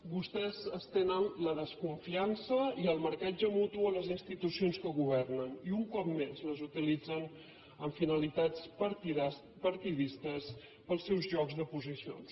vostès tenen la desconfiança i el marcatge mutu a les institucions que governen i un cop més les utilitzen amb finalitats partidistes per als seus jocs de posicions